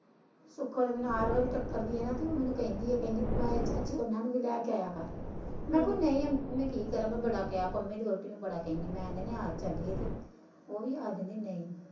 ਸੁੱਖੋ ਤੇ ਮੈਨੂੰ ਹਰ ਵਾਰੀ ਟਕਰਦੀ ਆ ਤੇ ਮੈਨੂੰ ਕਹਿੰਦੀ ਆ ਕਹਿੰਦੀ ਚਾਚੀ ਉਹ ਨੂੰ ਵੀ ਲੈ ਕੇ ਆਇਆ ਕਰ ਮੈਂ ਕਿ ਨਹੀਂ ਮੈਂ ਕੀ ਕਰਾ ਮੈਂ ਬੜਾ ਕਿਹਾ ਪੰਮੀ ਦੀ ਵਾਹੁਟੀ ਨੂੰ ਬੜਾ ਕਹਿਣੀ ਮੈਂ ਆ ਚੱਲੀਏ ਤੇ ਉਹ ਵੀ ਆਖ ਦਿੰਦੀ ਨਹੀਂ।